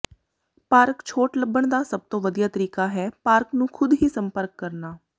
park ਛੋਟ ਲੱਭਣ ਦਾ ਸਭ ਤੋਂ ਵਧੀਆ ਤਰੀਕਾ ਹੈ ਪਾਰਕ ਨੂੰ ਖੁਦ ਹੀ ਸੰਪਰਕ ਕਰਨਾ